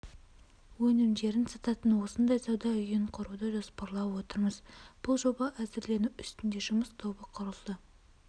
өнімдерін сататын осындай сауда үйін құруды жоспарлап отырмыз бұл жоба әзірлену үстінде жұмыс тобы құрылды